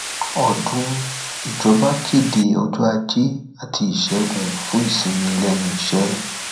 ọdún ìjọba kéde ọjọ ajé àti ìṣègùn fún ìsinmi lẹnu iṣẹ